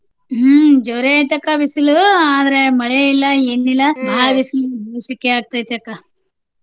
ಹ್ಮ ಜೋರ ಐತಿ ಅಕ್ಕ ಬಿಸಲು ಆದ್ರ ಮಳೆ ಇಲ್ಲಾ, ಏನಿಲ್ಲಾ ಬಾಳ ಬಿಸಲ್ ಸೆಕೆ ಆಗತೈತಿ ಅಕ್ಕ.